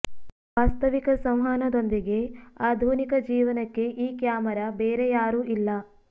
ವಾಸ್ತವಿಕ ಸಂವಹನದೊಂದಿಗೆ ಆಧುನಿಕ ಜೀವನಕ್ಕೆ ಈ ಕ್ಯಾಮರಾ ಬೇರೆ ಯಾರೂ ಇಲ್ಲ